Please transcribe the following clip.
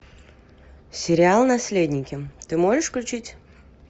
сериал наследники ты можешь включить